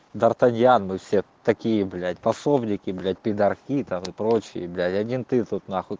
дартаньян вы все такие блять пособники блять пидарки там и прочее блять один ты тут нахуй